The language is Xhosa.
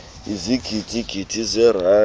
ezigidi gidi zeerandi